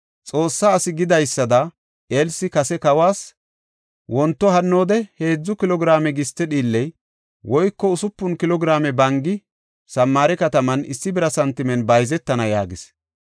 Xoossaa asi gidida Elsi kase kawas, “Wonto hannoode heedzu kilo giraame giste dhiilley woyko usupun kilo giraame bangi Samaare kataman issi bira santimen bayzetana” yaagis.